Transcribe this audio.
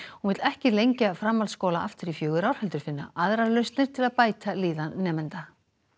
hún vill ekki lengja framhaldsskóla aftur í fjögur ár heldur finna aðrar lausnir til að bæta líðan nemenda